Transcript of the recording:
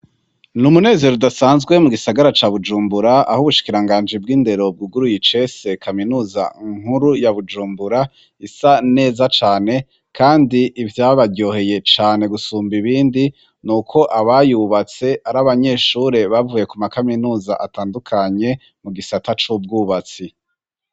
N'umunezero udasanzwe mu gisagara ca Bujumbura, aho ubushikiranganji bw'indero, bwuguruye icese kaminuza nkuru ya Bujumbura isa neza cane, kandi ivyabaryoheye cane gusumba ibindi, n'uko abayubatse ari abanyeshure bavuye ku makaminuza atandukanye mu gisata c'ubwubatsi.